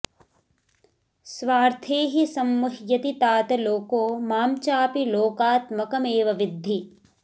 स्वार्थे हि संमुह्यति तात लोको मां चापि लोकात्मकमेव विद्धि